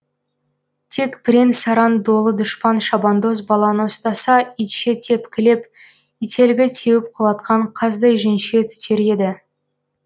тек бірен саран долы дұшпан шабандоз баланы ұстаса итше тепкілеп ителгі теуіп құлатқан қаздай жүнше түтер еді